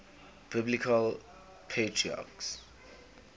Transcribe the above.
biblical patriarchs